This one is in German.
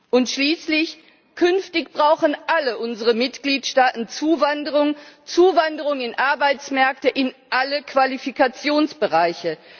Und schließlich Künftig brauchen alle unsere Mitgliedstaaten Zuwanderung in Arbeitsmärkte, in alle Qualifikationsbereiche.